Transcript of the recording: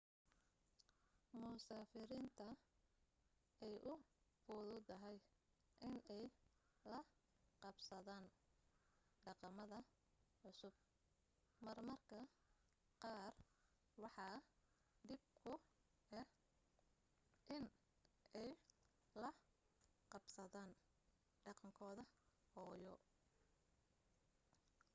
musaafiriinta ay u fududahay in ay la qabsadaan dhaqamada cusub mar marka qaar waxaa dhib ku ah in ay la qabsadaan dhaqankooda hooyo